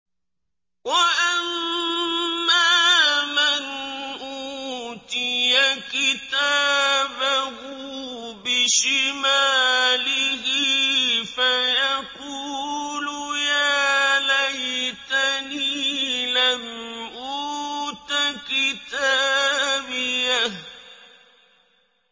وَأَمَّا مَنْ أُوتِيَ كِتَابَهُ بِشِمَالِهِ فَيَقُولُ يَا لَيْتَنِي لَمْ أُوتَ كِتَابِيَهْ